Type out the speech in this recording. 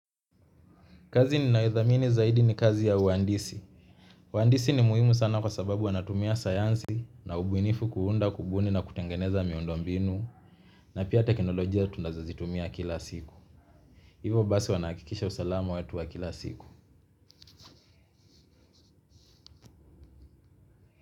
Kazi ninaithamini zaidi ni kazi ya uhandisi. Wandisi ni muhimu sana kwa sababu wanatumia sayansi na ubuinifu kuunda kubuni na kutengeneza miundombinu na pia teknolojia tunazozitumia kila siku. Hivo basi wanahakikisha usalama wetu wa kila siku.